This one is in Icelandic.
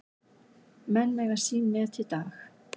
Menn eiga sín net í dag.